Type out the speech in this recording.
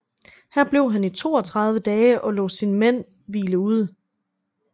Her blev han i 32 dage og lod sine mænd hvile ud